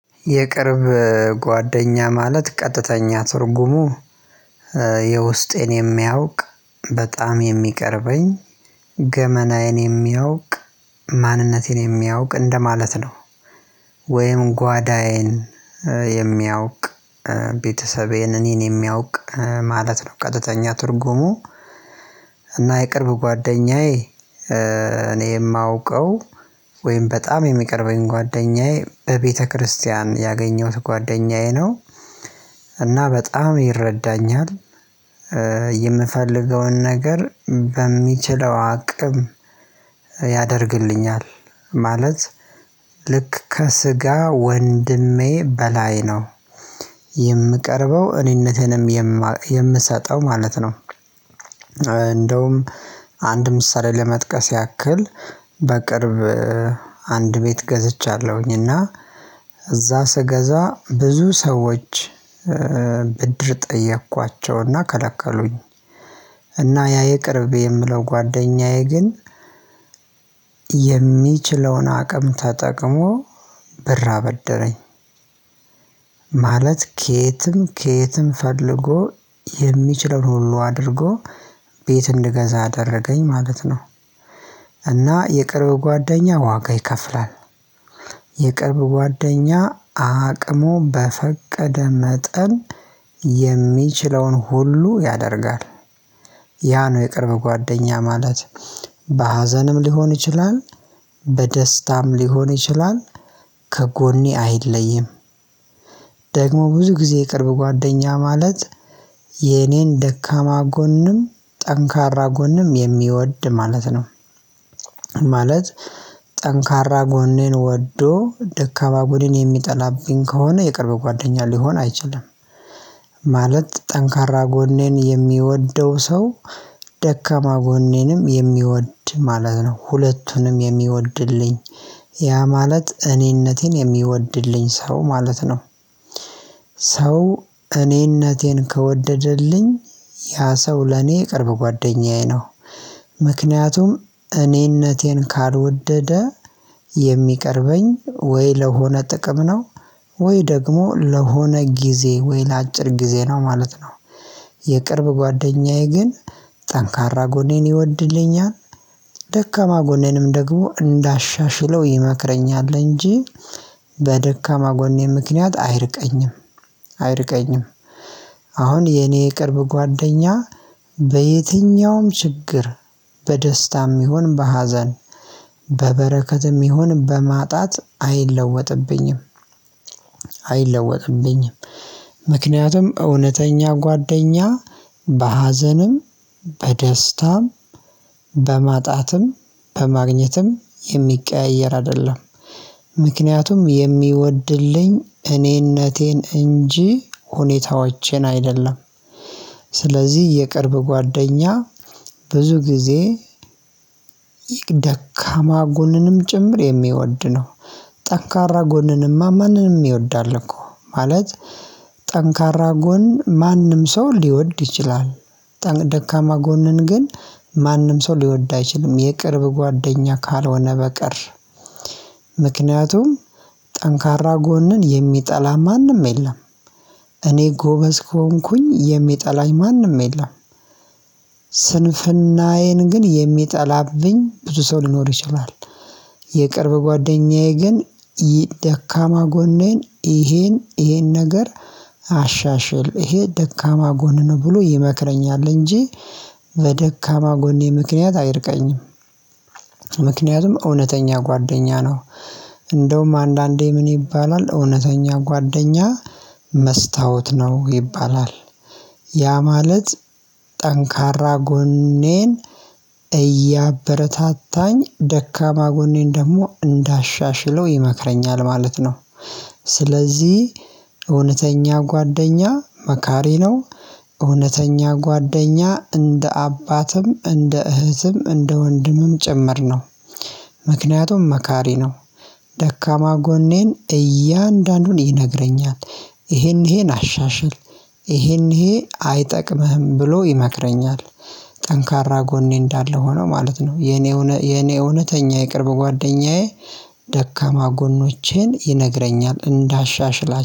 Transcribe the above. የቅርብ ጓደኛ ማለት ቀጥተኛ ትርጉሙ የውስጤን የሚያውቅ በጣም የሚቀርበኝ ገመናዬን የሚያውቅ ማንነቴን የሚያውቅ እንደማለት ነው። ወይም ጓዳዬን የሚያውቅ ቤተሰቤን እኔን የሚያውቅ ማለት ነው። ቀጥተኛ ትርጉሙ እና የቅርብ ጓደኛዬ እኔ የማውቀው ወይም በጣም የሚቀርበኝ ጓደኛዬ በቤተክርስቲያን ያገኘሁት ጓደኛዬ ነው። እና በጣም ይረዳኛል። የምፈልገውን ነገር በሚችለው አቅም ያደርግልኛል ማለት ልክ ከስጋ ወንድሜ በላይ ነው የምቀርበው እኔነቴንም የምሰጠው ማለት ነው። እንደውም አንድ ምሳሌ ለመጥቀስ ያክል በቅርብ አንድ ቤት ገዝቻለሁኝ እና እዛ ስገዛ ብዙ ሰዎች ብድር ጠየኳቸውና ከለከሉኝ። እና ያ የቅርቤ የምለው ጓደኛዬ ግን የሚችለውን አቅም ተጠቅሞ ብር አበደረኝ ማለት ከየትም ከየትም ፈልጎ የሚችለውን ሁሉ አድርጎ ቤት እንድገዛ አደረገኝ ማለት ነው። እና የቅርብ ጓደኛ ዋጋ ይከፍላል የቅርብ ጓደኛ አቅሙ በፈቀደ መጠን የሚችለውን ሁሉ ያደርጋል። ያ ነው የቅርብ ጓደኛ ማለት በሀዘንም ሊሆን ይችላል በደስታም ሊሆን ይችላል ከጎኔ አይለይም። ደግሞ ብዙ ጊዜ የቅርብ ጓደኛ ማለት የኔን ደካማ ጎንም ጠንካራ ጎንም የሚወድ ማለት ነው። ማለት ጠንካራ ጎኔን ወዶ ደካማ ጎኔን የሚጠላብኝ ከሆነ የቅርብ ጓደኛ ሊሆን አይችልም። ማለት ጠንካራ ጎኔን የሚወደው ሰው ደካማ ጎኔንም የሚወድ ማለት ነው ሁለቱንም የሚወድልኝ ያ ማለት እኔነቴን የሚወድልኝ ሰው ማለት ነው። ሰው እኔነቴን ከወደደልኝ ያ ሰው ለኔ የቅርብ ጓደኛዬ ነው። ምክንያቱም እኔነቴን ካልወደደ የሚቀርበኝ ወይ ለሆነ ጥቅም ነው ወይ ደግሞ ለሆነ ጊዜ ወይ ለአጭር ጊዜ ነው ማለት ነው። የቅርብ ጓደኛዬ ግን ጠንካራ ጎኔን ይወድልኛል ደካማ ጎኔንም ደግሞ እንዳሻሽለው ይመክረኛል እንጂ በደካማ ጎኔ ምክንያት አይርቀኝም። አይርቀኝም አሁን የኔ የቅርብ ጓደኛ በየትኛውም ችግር በደስታም ይሁን በሀዘን በበረከትም ይሁን በማጣት አይለወጥብኝም አይለወጥብኝም። ምክንያቱም እውነተኛ ጓደኛ በሀዘንም በደስታም በማጣትም በማግኘትም የሚቀያየር አይደለም ምክንያቱም የሚወድልኝ እኔነቴን እንጂ ሁኔታዎቼን አይደለም። ስለዚህ የቅርብ ጓደኛ ብዙ ጊዜ ደካማ ጎንንም ጭምር የሚወድ ነው። ጠንካራ ጎንንማ ማንንም ይወዳል እኮ ማለት ጠንካራ ጎን ማንም ሰው ሊወድ ይችላል ደካማ ጎንን ግን ማንም ሰው ሊወድ አይችልም። የቅርብ ጓደኛ ካልሆነ በቀር ምክንያቱም ጠንካራ ጎንን የሚጠላ ማንም የለም። እኔ ጎበዝ ከሆንኩኝ የሚጠላኝ ማንም የለም። ስንፍናዬን ግን የሚጠላብኝ ብዙ ሰው ሊኖር ይችላል። የቅርብ ጓደኛዬ ግን ደካማ ጎኔን ይሄን ይሄን ነገር አሻሽል ይሄ ደካማ ጎንህ ነው ብሎ ይመክረኛል እንጂ በደካማ ጎኔ ምክንያት አይርቀኝም። ምክንያቱም እውነተኛ ጓደኛ ነው። እንደውም አንዳንዴ ምን ይባላል እውነተኛ ጓደኛ መስታወት ነው ይባላል። ያ ማለት ጠንካራ ጎኔን እያበረታታኝ ደካማ ጎኔን ደግሞ እንዳሻሽለው ይመክረኛል ማለት ነው። ስለዚህ እውነተኛ ጓደኛ መካሪ ነው። እውነተኛ ጓደኛ እንደ አባትም እንደ እህትም እንደ ወንድምም ጭምር ነው። ምክንያቱም መካሪ ነው። ደካማ ጎኔን እያንዳንዱን ይነግረኛል ይሄን ይሄን አሻሽል ይሄን ይሄ አይጠቅምህም ብሎ ይመክረኛል። ጠንካራ ጎኔ እንዳለ ሆኖ ማለት ነው። የኔ እውነተኛ የቅርብ ጓደኛዬ ደካማ ጎኖቼን ይነግረኛል እንዳሻሽላ